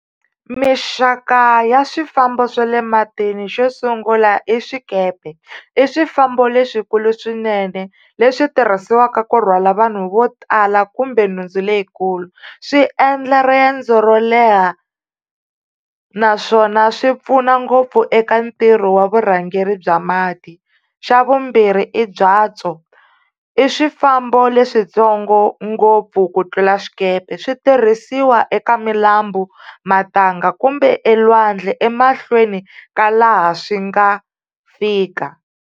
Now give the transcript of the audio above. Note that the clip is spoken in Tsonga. Mixaka ya swifambo swa le matini xo sungula i swikepe, i swifambo leswikulu swinene leswi tirhisiwaka ku rhwala vanhu vo tala kumbe nhundzu leyikulu, swi endla riendzo ro leha naswona swi pfuna ngopfu eka ntirho wa vurhangeri bya mati. Xa vumbirhi i byatso i swifambo leswitsongo ngopfu ku tlula swikepe, switirhisiwa eka milambu matanga kumbe elwandle emahlweni ka laha swi nga fika.